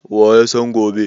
Wa ya san gobe?